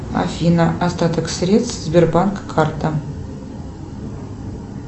афина остаток средств сбербанк карта